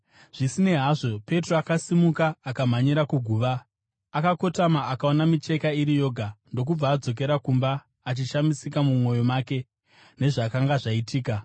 Zvisinei hazvo, Petro, akasimuka, akamhanyira kuguva. Akakotama, akaona micheka iri yoga, ndokubva adzokera kumba, achishamisika mumwoyo make nezvakanga zvaitika.